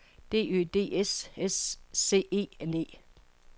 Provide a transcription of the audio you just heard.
D Ø D S S C E N E